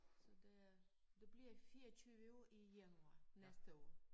Så det øh det bliver 24 år i januar næste år